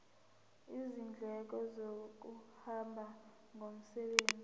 izindleko zokuhamba ngomsebenzi